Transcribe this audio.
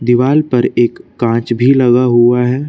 दीवाल पर एक कांच भी लगा हुआ है।